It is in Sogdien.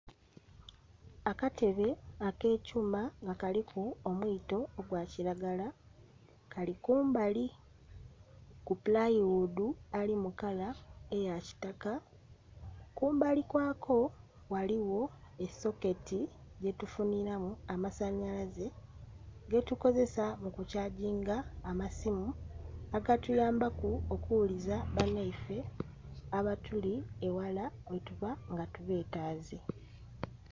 Akatebe ak'ekyuma nga kaliku omwito ogwa kiragala, kali kumbali ku pulayiwuudu, ali mukala eya kitaka. Kumbali kwako ghaligho esoketi yetufuniramu amasanyalaze getukozesa mu kukyaginga amasimu agatuyambaku okughuliza banaife abatuli eghala yetuba nga tubetaaze.